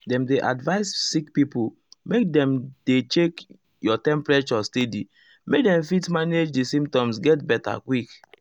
dem dey advise sick pipo make dem dey check your temperature steady make dem fit manage di symptoms get beta quick.